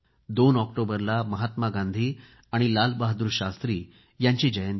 दोन ऑक्टोबरला महात्मा गांधी आणि लाल बहादूर शास्त्री यांची जयंती आहे